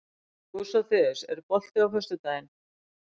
Dósóþeus, er bolti á föstudaginn?